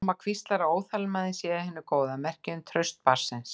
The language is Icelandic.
Mamma hvíslar að óþolinmæðin sé af hinu góða, merki um traust barnsins.